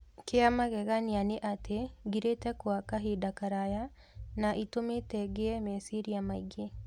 Kìa magegania ni atĩ ngirĩte kwa kabida karaya, na ĩtumĩte ngĩe meciria maingĩ